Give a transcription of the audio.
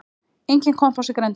Enginn kompás í grenndinni.